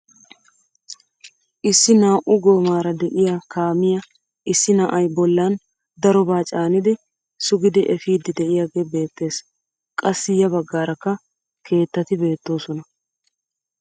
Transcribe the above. Issi naa"u goomaara de'iyaa kaamiyaa issi na'ay a bollan darobaa caanidi sugidi epiidi de'iyaagee beettees. qassi ya baggaarakka keettati beettoosona.